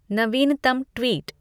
नवीनतम ट्वीट